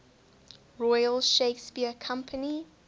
royal shakespeare company